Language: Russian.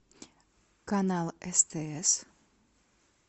канал стс